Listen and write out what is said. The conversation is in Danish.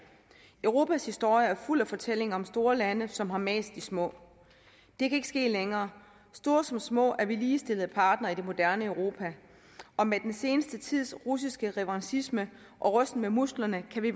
europas historie er fuld af fortællinger om store lande som har mast de små det kan ikke ske længere store som små er vi ligestillede partnere i det moderne europa og med den seneste tids russiske revanchisme og rysten med musklerne kan vi